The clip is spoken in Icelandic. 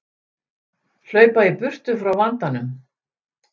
Hlaupa í burtu frá vandanum.